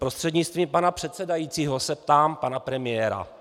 Prostřednictvím pana předsedajícího se ptám pana premiéra.